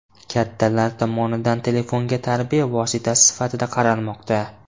Kattalar tomonidan telefonga tarbiya vositasi sifatida qaralmoqda.